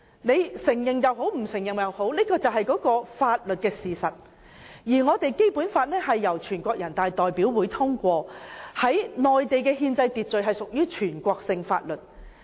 不管大家承認與否，這是法律事實，而《基本法》是由人大常委會通過，在內地的憲制秩序下屬全國性法律。